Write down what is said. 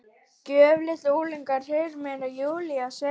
Gröf litla ungans, heyrist mér Júlía segja.